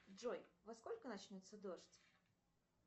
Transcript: джой во сколько начнется дождь